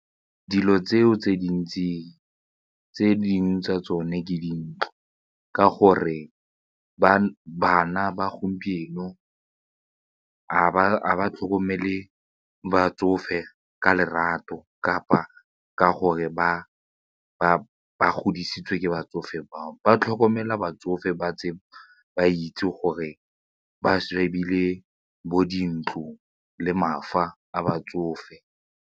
Dilo tseo tse dintsi tse dingwe tsa tsone ke dintle ka gore bana ba gompieno ga ba tlhokomele batsofe ka lerato kapa ka gore ba ba godisitswe ke batsofe bao ba tlhokomela batsofe ba tse ba itse gore ba shebile bo dintlo le batsofe.